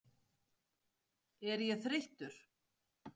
Er ég þreyttur?